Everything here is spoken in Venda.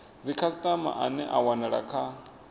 dzikhasitama ane a wanala kha